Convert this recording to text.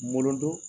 Molodon